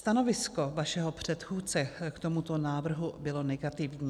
Stanovisko vašeho předchůdce k tomuto návrhu bylo negativní.